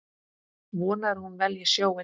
Vonar að hún velji sjóinn.